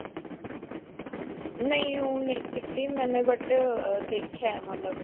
ਨਹੀਂ ਓਹ ਨਹੀਂ ਕੀਤੀ ਮੈਂਨੇ but ਦੇਖਿਆ ਹੈ ਮਤਲਬ.